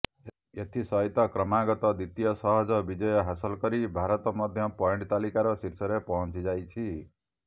ଏଥି ସହିତ କ୍ରମାଗତ ଦ୍ୱିତୀୟ ସହଜ ବିଜୟ ହାସଲ କରି ଭାରତ ମଧ୍ୟ ପଏଣ୍ଟ୍ ତାଲିକାର ଶୀର୍ଷରେ ପହଞ୍ଚିଯାଇଛି